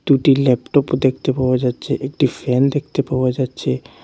দুইটি ল্যাপটপ দেখতে পাওয়া যাচ্ছে একটি ফ্যান দেখতে পাওয়া যাচ্ছে।